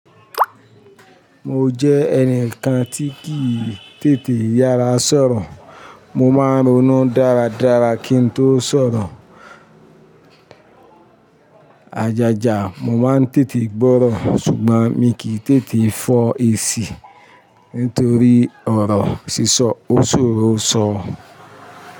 Mo jẹ́ ẹnìkan tí kì í tètè yára sọ̀rọ̀. Mo máa ń ronú dáradára kí n tó sọ̀rọ̀. Ajaja mo máa ń tètè gbọ́rọ̀, ṣùgbọ́n mi kì í tètè fọ̀ ẹ síí nítorí ọ̀rọ̀ sísọ oṣòrò ṣo.